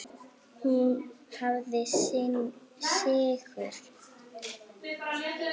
Hún hafði sigur.